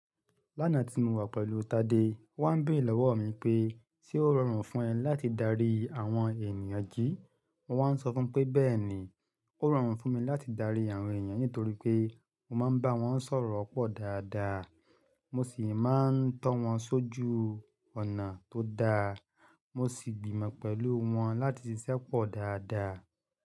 Lánàá tí mo wà pẹ̀lú Tade, ó wá ń béèrè lọ́wọ́ mi pé ṣe ó rọrùn fún ẹ láti darí àwọn ènìyàn jí? Mo wá ń sọ fún pé bẹ́ẹ̀ni, ó rọrùn fún mi láti darí àwọn ènìyàn nítorí pé mo máa ń bá wọn sọ̀rọ̀ pọ̀ dáadáa. Mo sì máa ń tọ́ wọn sójú ọ̀nà tó da. Mo sì gbìmọ̀ pẹ̀lú wọn láti ṣiṣẹ́ pọ̀ dáadáa.